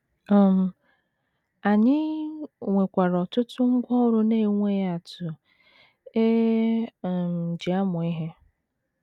um Anyị nwekwara ọtụtụ ngwá ọrụ na - enweghị atụ e um ji amụ ihe. um